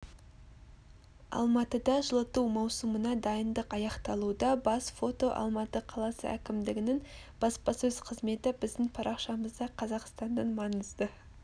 алматыда жылыту маусымына дайындық аяқталуда бас фото алматы қаласы әкімдігінің баспасөз қызметі біздің парақшамызда қазақстанның маңызды